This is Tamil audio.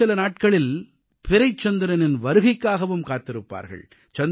இன்னும் சில நாட்களில் பிறைச்சந்திரனின் வருகைக்காகவும் காத்திருப்பார்கள்